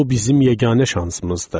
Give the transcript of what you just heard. Bu bizim yeganə şansımızdır.